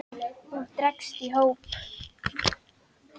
og dregst í hóp